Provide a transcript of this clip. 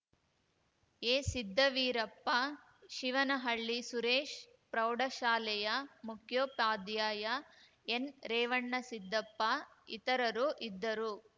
ಎಸಿದ್ದವೀರಪ್ಪ ಶಿವನಹಳ್ಳಿ ಸುರೇಶ್‌ ಪ್ರೌಢ ಶಾಲೆಯ ಮುಖ್ಯೋಪಾಧ್ಯಾಯ ಎನ್‌ ರೇವಣ್ಣಸಿದ್ದಪ್ಪ ಇತರರು ಇದ್ದರು